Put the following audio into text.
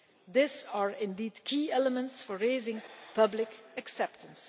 These are indeed key elements for raising public acceptance.